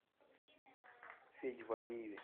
феде валиеве